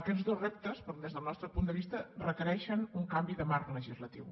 aquests dos reptes des del nostre punt de vista requereixen un canvi de marc legislatiu